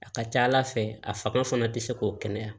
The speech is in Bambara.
A ka ca ala fɛ a fanga fana tɛ se k'o kɛnɛya